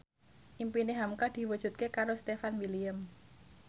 impine hamka diwujudke karo Stefan William